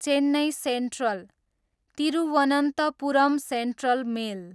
Chennai Central, Thiruvananthapuram Central mail